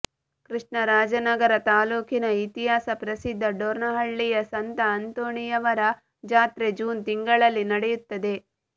ಕೃಷ್ಣರಾಜನಗರ ತಾಲೂಕಿನ ಇತಿಹಾಸ ಪ್ರಸಿದ್ಧ ಡೋರ್ನಹಳ್ಳಿಯ ಸಂತ ಅಂತೋಣಿಯವರ ಜಾತ್ರೆ ಜೂನ್ ತಿಂಗಳಲ್ಲಿ ನಡೆಯುತ್ತದೆ